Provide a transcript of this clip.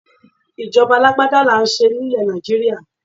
Ìjọba alágbádá là ń ṣe nílẹ̀ Nàìjíríà.